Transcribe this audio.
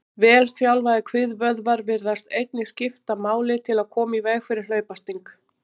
Vel þjálfaðir kviðvöðvar virðast einnig skipta máli til að koma í veg fyrir hlaupasting.